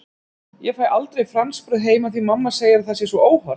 Ég fæ aldrei franskbrauð heima því mamma segir að það sé svo óhollt!